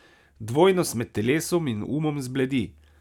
Dvojnost med telesom in umom zbledi.